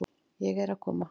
Ég er að koma.